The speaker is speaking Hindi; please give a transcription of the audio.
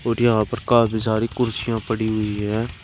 और यहां पर काफी सारी कुर्सियां पड़ी हुई है।